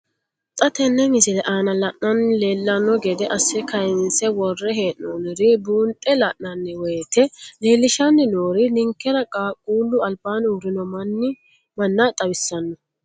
Xa tenne missile aana la'nara leellanno gede assine kayiinse worre hee'noonniri buunxe la'nanni woyiite leellishshanni noori ninkera qaaqquullu albaanni urrino manna xawissanno.